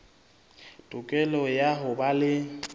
tokelo ya ho ba le